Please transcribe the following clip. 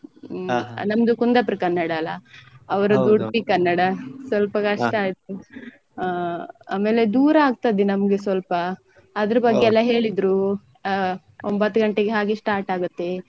ನಮ್ದು Kundapura ಕನ್ನಡ ಅಲ್ಲ? ಅವ್ರ್ದ್ Udupi ಕನ್ನಡ ಸ್ವಲ್ಪ ಕಷ್ಟ ಆಯ್ತು ಹ ಆಮೇಲೆ ದೂರ ಆಗ್ತದೆ ನಮ್ಗೆ ಸ್ವಲ್ಪ ಅದ್ರ್ ಬಗ್ಗೆ ಎಲ್ಲ ಹೇಳಿದ್ರು ಅ ಒಂಬತ್ತು ಗಂಟೆ ಹಾಗೆ start ಆಗುತ್ತೆ.